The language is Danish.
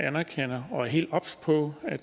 anerkender og er helt obs på at